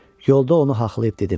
Yolda onu haxlayıb dedim: